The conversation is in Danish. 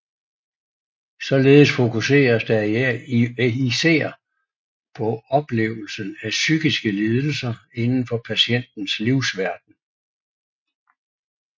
Således fokuseres der især på oplevelsen af psykiske lidelser inden for patientens livsverden